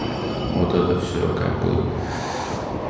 у-у вот это все как бы